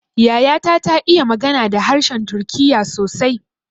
Yaya ta ta iya magana da harshen turkiya sosai